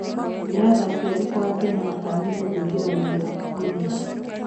Nĩ athaki arikũ a Afrika metanyitwo kuingira rigi ya purimia?